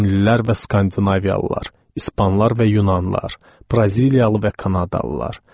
Çinlilər və Skandinaviyalılar, İspanlar və Yunanlar, Braziliyalı və Kanadalılar.